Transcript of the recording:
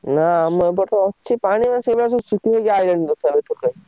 ନା ଆମ ଏପଟ ଅଛି ପାଣିବା ସେଇଭଳିଆ ସବୁ ଶୁଖି ଶୁଖି ଆଇଲାଣି ।